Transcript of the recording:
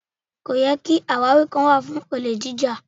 Kò yẹ ki àwáwí kankan kó wà fún olè jíjà.